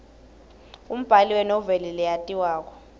umbali wenoveli leyatiwako